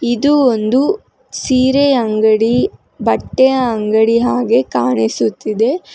ಇದು ಒಂದು ಸೀರೆ ಅಂಗಡಿ ಬಟ್ಟೆ ಅಂಗಡಿ ಹಾಗೇ ಕಾಣಿಸುತ್ತಿದೆ.